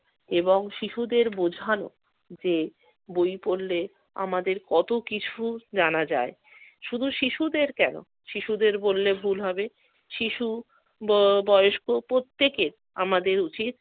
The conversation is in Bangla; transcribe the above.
এবং শিশুদের বোঝানো যে বই পড়লে আমাদের কত কিছু জানা যায়। শুধু শিশুদের কেন, শিশুদের বললে ভুল হবে। শিশু, ব~ বয়স্ক প্রত্যেকের আমাদের উচিত